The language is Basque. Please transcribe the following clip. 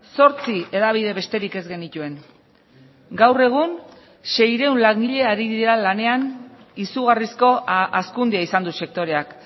zortzi hedabide besterik ez genituen gaur egun seiehun langile ari dira lanean izugarrizko hazkundea izan du sektoreak